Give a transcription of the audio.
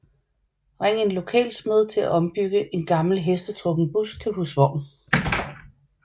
Ring en lokal smed til at ombygge en gammel hestetrukken bus til husvogn